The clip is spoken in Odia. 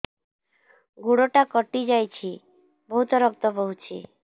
ଗୋଡ଼ଟା କଟି ଯାଇଛି ବହୁତ ରକ୍ତ ବହୁଛି